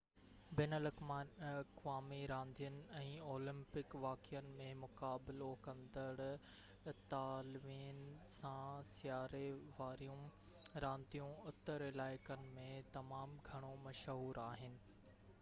بين الاقوامي راندين ۽ اولمپڪ واقعن ۾ مقابلو ڪندڙ اطالوين سان سياري واريون رانديون اتر علائقن ۾ تمام گهڻو مشهور آهن